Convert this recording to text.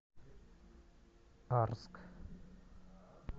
арск